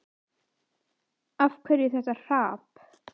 Af hverju þetta hrap?